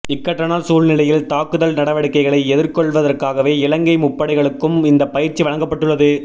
இக்கட்டான சூழ்நிலையில் தாக்குதல் நடவடிக்கைகளை எதிர்கொள்வதற்காகவே இலங்கை முப்படைகளுக்கும் இந்த பயிற்சி வழங்கப்பட்டுள்ளது